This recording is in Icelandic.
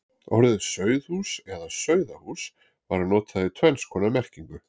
Orðið sauðhús eða sauðahús var notað í tvenns konar merkingu.